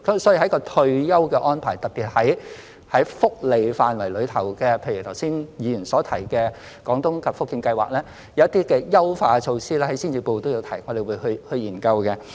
所以在退休安排方面，特別是在福利範圍內，譬如剛才議員所提的廣東及福建計劃，有一些優化措施，在施政報告中也有提出，我們會去研究。